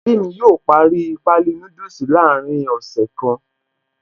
Ẹbí mi yóò parí páálí núdùsì láàrin ọ̀sẹ̀ kan.